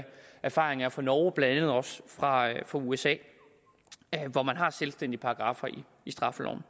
erfaringen er fra norge og blandt andet også fra usa hvor man har selvstændige paragraffer i straffeloven